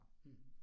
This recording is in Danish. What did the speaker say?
Mh